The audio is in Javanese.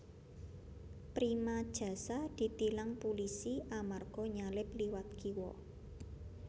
Prima Jasa ditilang pulisi amarga nyalip liwat kiwo